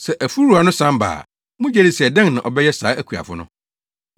“Sɛ afuw wura no san ba a, mugye di sɛ dɛn na ɔbɛyɛ saa akuafo no?”